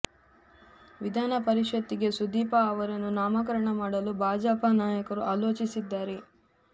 ವಿಧಾನ ಪರಿಷತ್ತಿಗೆ ಸುದೀಪ ಅವರನ್ನು ನಾಮಕರಣ ಮಾಡಲು ಭಾಜಪ ನಾಯಕರು ಆಲೋಚಿಸಿದ್ದಾರೆ